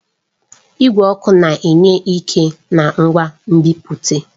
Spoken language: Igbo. Igwe ọkụ na-enye ike na ngwa nbipute.